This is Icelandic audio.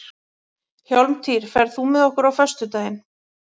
Hjálmtýr, ferð þú með okkur á föstudaginn?